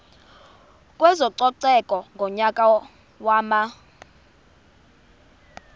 kwezococeko ngonyaka wama